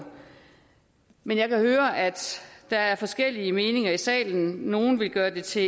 men jeg kan høre at der er forskellige meninger i salen nogle vil gøre det til